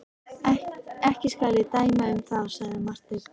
Ekki skal ég dæma um það, sagði Marteinn.